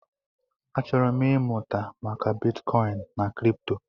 Achọrọ m ịmụta maka bitkọin na kripto.